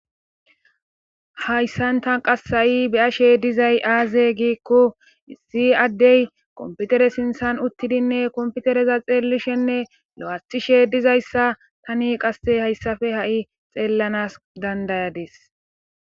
Hayssan tan qassa7i beyashe dizay aaze giikko isi addey komputere sinthan uttidinne komputereza xeellishenne lo7athishe dizayssa tani qasse hayssafe ha7i xeellanas dandayadis.